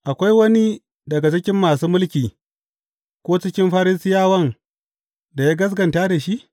Akwai wani daga cikin masu mulki ko cikin Farisiyawan da ya gaskata da shi?